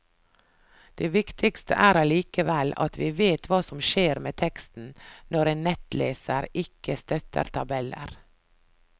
Det viktigste er allikevel, at vi vet hva som skjer med teksten når en nettleser ikke støtter tabeller.